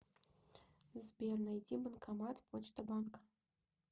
сбер найди банкомат почта банка